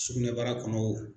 Sugunɛbara kɔnɔ o